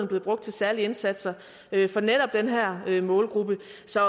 blevet brugt til særlige indsatser for netop den her målgruppe